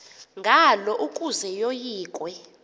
ngalo ukuze yoyikwe